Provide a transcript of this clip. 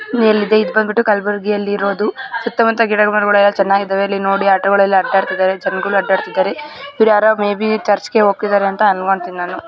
ಮೇಲಿದೆ ಇದು ಬಂಬಿಟ್ಟು ಕಲಬುರ್ಗಿ ಅಲ್ಲಿ ಇರೋದು ಸುತ್ತ ಮುತ್ತ ಗಿಡ ಮರಗಳೆಲ್ಲ ಚೆನ್ನಾಗಿದ್ದವೇ ಇಲ್ಲಿ ನೋಡಿ ಆಟೋ ಗಳೆಲ್ಲ ಅಡ್ಡಡ್ತಿದ್ದಾರೆ ಜನಗಳು ಅಡ್ಡಡ್ತಿದ್ದಾರೆ ಇವ್ರ ಯಾರೋ ಮೇ ಬಿ ಚರ್ಚ್ ಗೆ ಹೂಗ್ತಿದ್ದಾರೆ ಅನ್ಕೊಂಡಿತೀನಿ ನಾನು .]